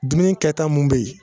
Dumuni kɛta mun bɛ yen